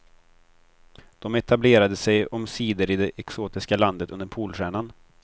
De etablerade sig omsider i det exotiska landet under polstjärnan.